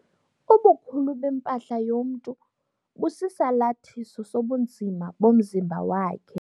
Ubukhulu bempahla yomntu busisalathiso sobunzima bomzimba wakhe.